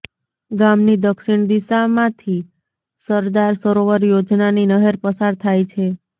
ગામની દક્ષિણ દિશામાંથી સરદાર સરોવર યોજનાની નહેર પસાર થાય છે